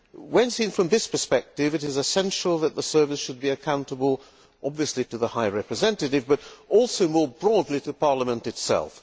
When seen from this perspective, it is essential that the Service should be accountable, obviously to the High Representative but also, more broadly, to Parliament itself.